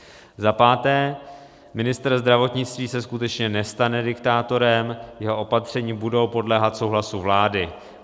Za páté, ministr zdravotnictví se skutečně nestane diktátorem, jeho opatření budou podléhat souhlasu vlády.